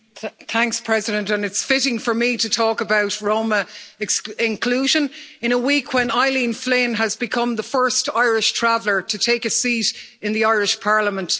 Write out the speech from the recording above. Madam President, it's fitting for me to talk about Roma inclusion in a week when Eileen Flynn has become the first Irish Traveller to take a seat in the Irish Parliament.